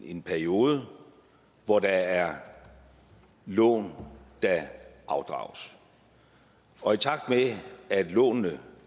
en periode hvor der er lån der afdrages og i takt med at lånene